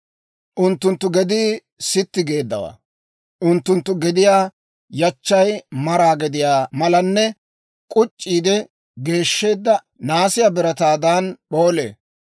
Unttunttu gedii sitti geeddawaa; unttunttu gediyaa yachchay maraa gediyaa malanne k'uc'c'iide geeshsheedda naasiyaa birataadan p'oolee.